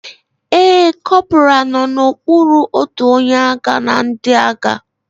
Ee, corporal nọ n'okpuru otu onye agha na ndị agha